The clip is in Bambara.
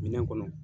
Minɛn kɔnɔ